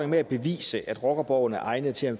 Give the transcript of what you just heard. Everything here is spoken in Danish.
med at bevise at rockerborgen er egnet til at